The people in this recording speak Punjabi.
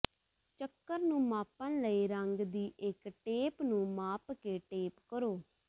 ਚੱਕਰ ਨੂੰ ਮਾਪਣ ਲਈ ਰੰਗ ਦੀ ਇਕ ਟੇਪ ਨੂੰ ਮਾਪ ਕੇ ਟੇਪ ਕਰੋ